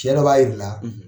Cɛ dɔ b'a yiri la